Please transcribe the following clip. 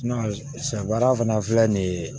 sɛ baara fana filɛ nin ye